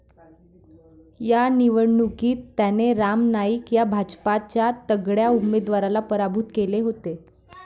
या निवडणूकीत त्याने राम नाईक या भाजपच्या तगड्या उमेदवाराला पराभूत केले होते.